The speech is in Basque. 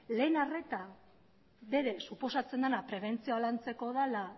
lehen arreta berez suposatzen dena prebentzioa lantzeko dela